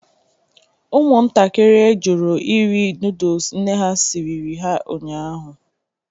Ụmụntakịrị jụrụ iri nodles nne ha siriri ha ụnyahụ.